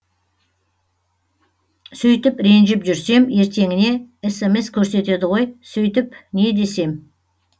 сөйтіп ренжіп жүрсем ертеңіне смс көрсетеді ғой сөйтіп не десем